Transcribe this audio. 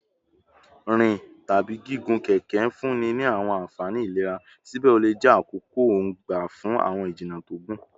Rin tabi gigun keke nfunni ni awọn anfani ilera, sibẹ o le jẹ akoko-n gba fun awọn ijinna to gun